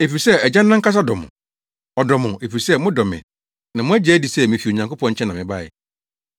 efisɛ Agya no ankasa dɔ mo. Ɔdɔ mo, efisɛ modɔ me na moagye adi sɛ mifi Onyankopɔn nkyɛn na mebae.